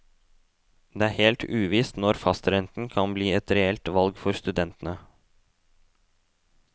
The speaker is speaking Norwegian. Det er helt uvisst når fastrenten kan bli et reelt valg for studentene.